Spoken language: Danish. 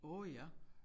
Åh ja